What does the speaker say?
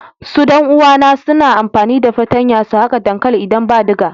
Su dan uwa na suna amfani da fatanya su haka dankali idan ba diga.